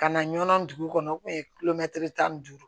Ka na ɲɔn dugu kɔnɔ u kun ye kulomɛtiri tan ni duuru